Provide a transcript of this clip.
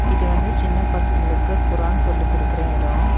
இது வந்து சின்ன பசங்களுக்கு குரான் சொல்லிக் குடுக்குற எடோ.